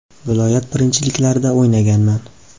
Viloyat birinchiliklarida o‘ynaganman.